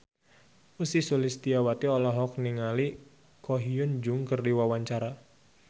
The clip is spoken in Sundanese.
Ussy Sulistyawati olohok ningali Ko Hyun Jung keur diwawancara